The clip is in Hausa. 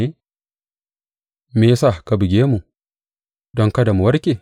Me ya sa ka buge mu don kada mu warke?